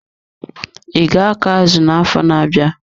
I ga akọ azụ na-afọ na-abịa.